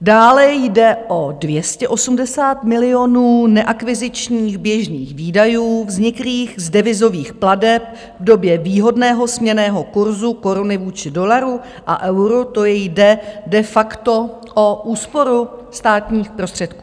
Dále jde o 280 milionů neakvizičních běžných výdajů vzniklých z devizových plateb v době výhodného směnného kurzu koruny vůči dolaru a euru, to jde de facto o úsporu státních prostředků.